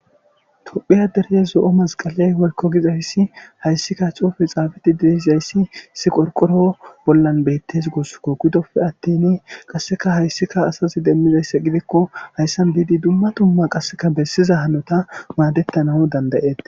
Tophiya dereye zo'o masqaley wolko gizayssi hayssikka cuufe xaafati dideizayssi si qorqoro bollan beettes gussukko gudoppe attin qasseka hayssika asazi demmizayssa gidikko hayssan diidi dumma dumma qasseka bessiza hanota maadettanahu dandayeet.